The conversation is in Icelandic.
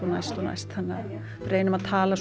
næst næst við reynum að tala